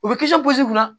U bɛ kisi la